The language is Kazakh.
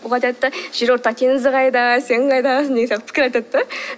олар айтады да жерорта теңізі қайда сен қайдасың деген сияқты пікір айтады да